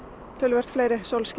töluvert fleiri